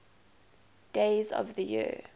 days of the year